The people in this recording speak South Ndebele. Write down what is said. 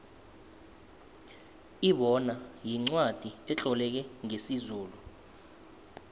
ibona yincwacli etloleke ngesizulu